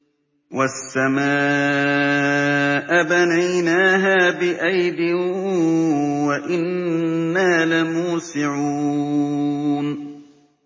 وَالسَّمَاءَ بَنَيْنَاهَا بِأَيْدٍ وَإِنَّا لَمُوسِعُونَ